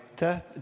Aitäh!